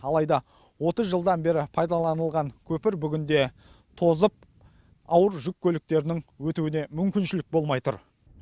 алайда отыз жылдан бері пайдаланылған көпір бүгінде тозып ауыр жүк көліктерінің өтуіне мүмкіншілік болмай тұр